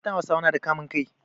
Matan Hausawa nada kamun kai